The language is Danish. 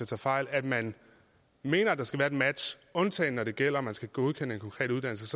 tager fejl at man mener at der skal være et bedre match undtagen når det gælder at man skal godkende en konkret uddannelse